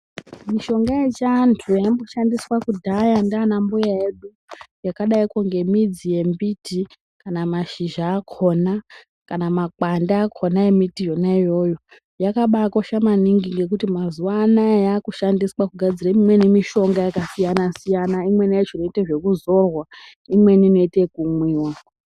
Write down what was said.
Mishonga yechiantu yaimboshandiswa ngana mbuya edu yakadaiko ngembidzi yemiti kana mashizha akhona kana makwande akhona embiti yona iyoyo yakabakosha maningi ngekuti mazuva anaya yakushandiswa kugadzira imweni mishonga yakasiyana-siyana, imweni yachona inoita zvekudzorwa imeni inoite ekumwiwa.